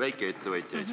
väikeettevõtjaid?